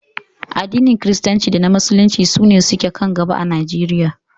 Addinin Kiristanci da na Musulunci su ne ke kan gaba a Najeriya